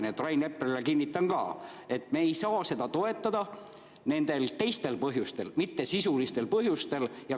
Nii et Rain Eplerile kinnitan ka, et me ei saa seda toetada nendel teistel põhjustel, mitte sisulistel põhjustel.